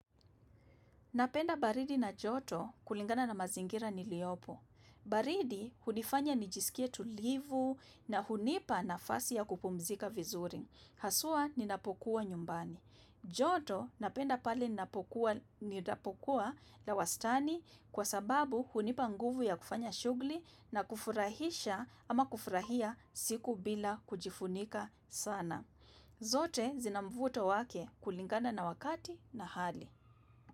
Napenda baridi na joto kulingana na mazingira niliopo. Baridi, hunifanya nijisikie tulivu na hunipa na fasi ya kupumzika vizuri. Haswa, ninapokuwa nyumbani. Joto, napenda pale ninapokuwa na wastani kwa sababu hunipa nguvu ya kufanya shugli na kufurahisha ama kufurahia siku bila kujifunika sana. Zote, zinamvuto wake kulingana na wakati na hali.